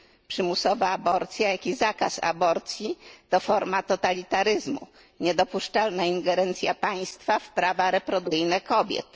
Przymusowa aborcja, jak i zakaz aborcji, to forma totalitaryzmu, niedopuszczalna ingerencja państwa w prawa reprodukcyjne kobiet.